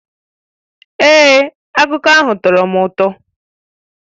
Èé, akụkọ ahụ tọrọ m ụtọ